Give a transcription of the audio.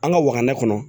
An ka waga na kɔnɔ